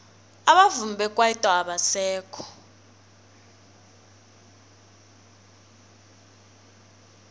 abavumi bekwaito abasekho